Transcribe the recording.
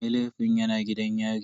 Mai laifin yana gidan yari.